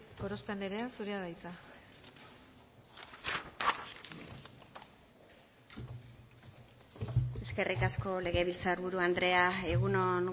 gorospe anderea zurea da hitza eskerrik asko legebiltzar buru andrea egun on